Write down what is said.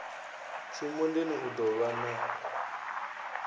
tshimondeni u ḓo vhan a